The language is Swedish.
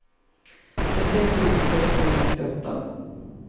trettioett tusen sexhundranittioåtta